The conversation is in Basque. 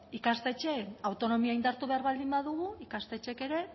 ikastetxeen autonomia indartu behar baldin badugu ikastetxeek ere